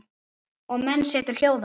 Og menn setur hljóða.